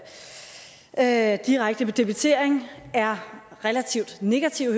at omkring direkte debitering er relativt negative